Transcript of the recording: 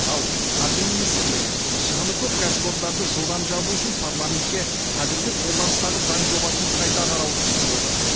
ал қаржы министрлігі шығыны көп кәсіпорындарды жылдам жабу үшін парламентке қазіргі қолданыстағы заң жобасын қайта қарауды ұсынып отыр